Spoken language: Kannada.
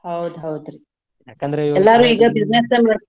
ಹೌದ್ ಹೌದ್ರಿ ಎಲ್ಲಾರು ಈಗ business .